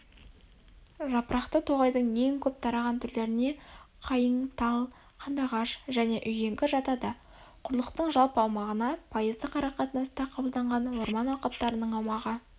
жапырақты тоғайдың ең көп тараған түрлеріне қайың тал қандағаш және үйеңкі жатады құрлықтың жалпы аумағына пайыздық арақатынаста қабылданған орман алқаптарының аумағы